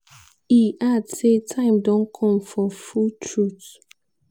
e add say "time don come for full truth".